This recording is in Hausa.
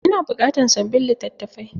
Ina buƙatan sabbin litattafai.